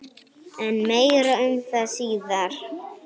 En meira um það síðar.